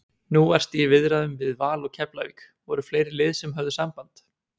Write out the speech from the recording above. Nú varstu í viðræðum við Val og Keflavík, voru fleiri lið sem höfðu samband?